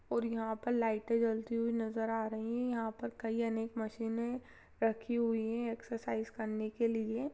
और यहाँ पर लाईटे जलती हुए नजर आ रही हैं यहाँ पर कई अनेक मशीने रखी हुई हैं एक्सरसाइज करने के लिए।